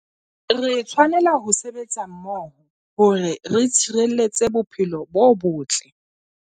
Re tshwanela ho sebetsa mmoho hore re tshireletse bophelo bo botle.